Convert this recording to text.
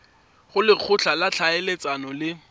go lekgotla la ditlhaeletsano le